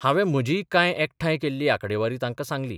हावें म्हजीय कांय एकठांय केल्ली आंकडेवारी तांकां सांगली.